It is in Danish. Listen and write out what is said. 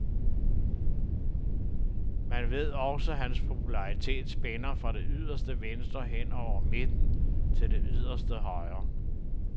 Man ved også, at hans popularitet spænder fra det yderste venstre hen over midten til det yderste højre.